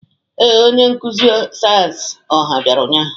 Ee, onye nkuzi sayensị ọha bịara ụnyahụ.